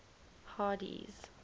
hardee's